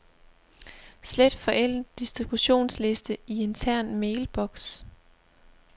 Slet forældet distributionsliste i intern mailbox.